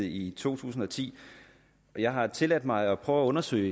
i to tusind og ti jeg har tilladt mig at prøve at undersøge